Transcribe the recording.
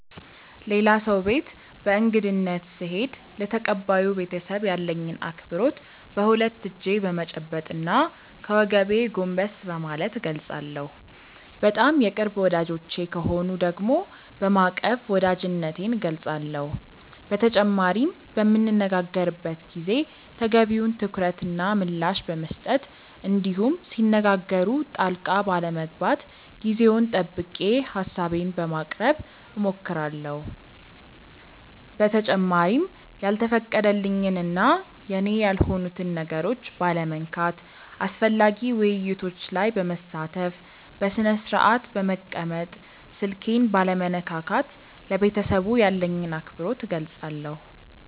ሌላ ሰው ቤት በእንግድነት ስሄድ ለተቀባዩ ቤተሰብ ያለኝን አክብሮት በሁለት እጄ በመጨበጥ እና ከወገቤ ጎንበስ በማለት እገልፃለሁ። በጣም የቅርብ ወዳጆቼ ከሆኑ ደግሞ በማቀፍ ወዳጅነቴን እገልፃለሁ። በተጨማሪም በምንነጋገርበት ጊዜ ተገቢውን ትኩረት እና ምላሽ በመስጠት እንዲሁም ሲነጋገሩ ጣልቃ ባለመግባት ጊዜውን ጠብቄ ሀሳቤን በማቅረብ እሞክራለሁ። በተጨማሪም ያልተፈቀደልኝን እና የኔ ያልሆኑትን ነገሮች ባለመንካት፣ አስፈላጊ ውይይቶች ላይ በመሳተፍ፣ በስነስርአት በመቀመጥ፣ ስልኬን ባለመነካካት ለቤተሰቡ ያለኝን አክብሮት እገልፃለሁ።